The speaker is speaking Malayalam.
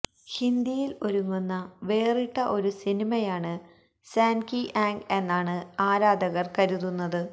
ഹിന്ദിയില് ഒരുങ്ങുന്ന വേറിട്ട ഒരു സിനിമയാണ് സാൻഡ് കി ആങ്ക് എന്നാണ് ആരാധകര് കരുതുന്നത്